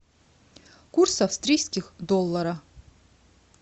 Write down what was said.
курс австрийских доллара